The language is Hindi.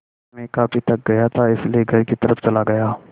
मैं काफ़ी थक गया था इसलिए घर की तरफ़ चला गया